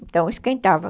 Então, esquentava.